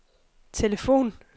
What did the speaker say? telefon